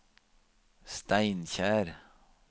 Steinkjer